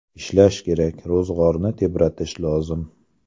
Ishlash kerak, ro‘zg‘orni tebratish lozim.